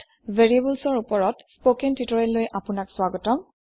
variables in Perlৰ spoken tutorial লৈ আপোনাক স্ৱাগতম